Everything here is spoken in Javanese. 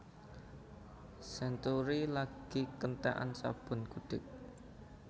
Century lagi keentekan sabun gudik